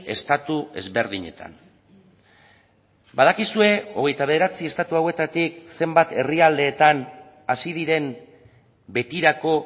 estatu ezberdinetan badakizue hogeita bederatzi estatu hauetatik zenbat herrialdeetan hasi diren betirako